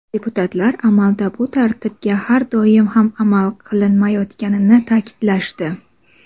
deputatlar amalda bu tartibga har doim ham amal qilinmayotganini ta’kidlashdi.